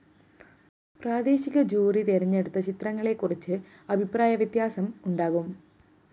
പ്രാദേശിക ജൂറി തെരഞ്ഞെടുത്ത ചിത്രങ്ങളെക്കുറിച്ച് അഭിപ്രായവ്യത്യാസം ഉണ്ടാകാം